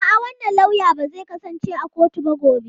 A'a, wannan lauya ba zai kasance a kotu ba gobe.